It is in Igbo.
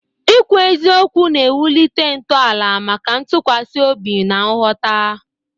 ikwu eziokwu na-ewulite ntọala maka ntụkwasị obi na nghọta.